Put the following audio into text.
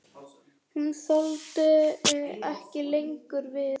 Hún þoldi ekki lengur við.